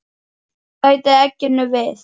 Bætið egginu við.